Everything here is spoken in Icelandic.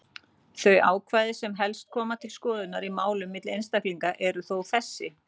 Þau ákvæði sem helst koma til skoðunar í málum milli einstaklinga eru þó þessi: